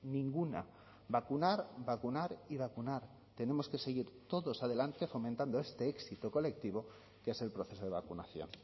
ninguna vacunar vacunar y vacunar tenemos que seguir todos adelante fomentando este éxito colectivo que es el proceso de vacunación